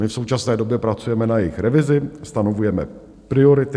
My v současné době pracujeme na jejich revizi, stanovujeme priority.